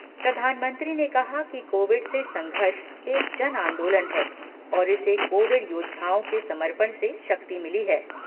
प्रधानमंत्री ने कहा कि कोविड से संघर्ष एक जन आंदोलन है और इसे कोविड योद्धाओं के समर्पण से शक्ति मिली है।